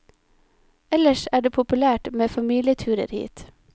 Ellers er det populært med familieturer hit.